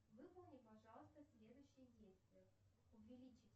выполни пожалуйста следующее действие увеличить